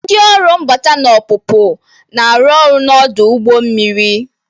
Ndị ọrụ mbata na ọpụpụ na-arụ ọrụ n'ọdụ ụgbọ mmiri